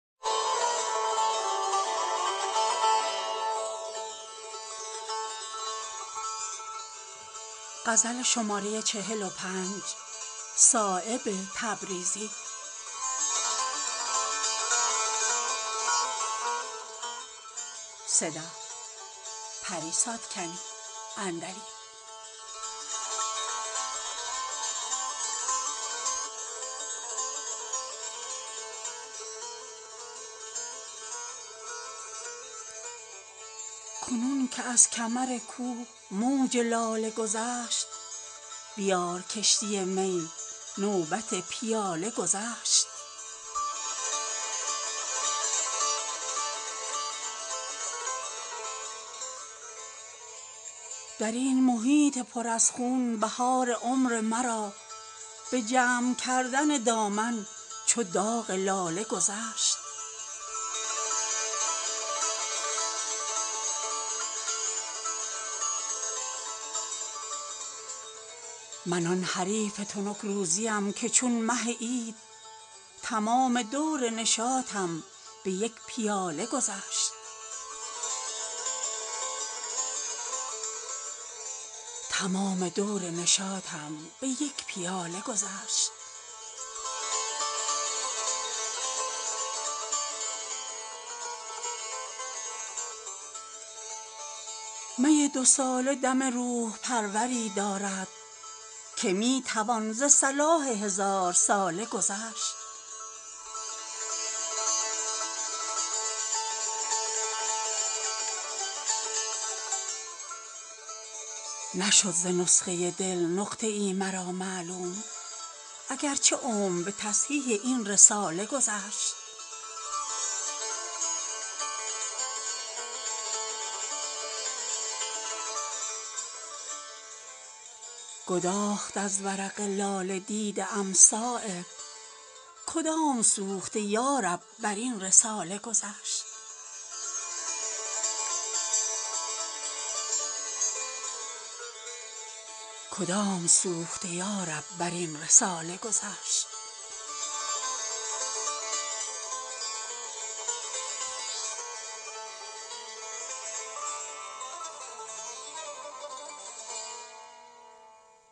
کنون که از کمر کوه موج لاله گذشت بیار کشتی می نوبت پیاله گذشت ز شیشه خانه دل چهره عرقناکش چنان گذشت که بر لاله زار ژاله گذشت چنان ز حسن تو شد کار تنگ بر خوبان که دور خوبی مه در حصار هاله گذشت درین محیط پر از خون بهار عمر مرا به جمع کردن دامن چو داغ لاله گذشت من آن حریف تنک روزیم که چون مه عید تمام دور نشاطم به یک پیاله گذشت می دو ساله دم روح پروری دارد که می توان ز صلاح هزارساله گذشت نشد ز نسخه دل نقطه ای مرا معلوم اگر چه عمر به تصحیح این رساله گذشت ز پیچ و تاب رگ جان خبر رسید به من اگر نسیم بر آن عنبرین کلاله گذشت سیاهی از سر داغش نرفت پنداری که تیره بختی ما در ضمیر لاله گذشت گداخت از ورق لاله دیده ام صایب کدام سوخته یارب براین رساله گذشت